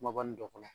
Kumaba nin dɔ kɔnɔ